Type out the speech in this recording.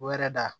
O yɛrɛ da